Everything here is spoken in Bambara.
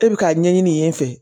E bɛ k'a ɲɛɲini